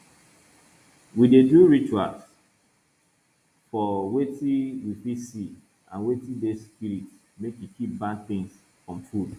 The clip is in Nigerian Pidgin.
we dey do ritual for wetin we fit see and wetin dey spirit make e keep bad things from food